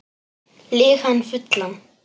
Lýg hann fullan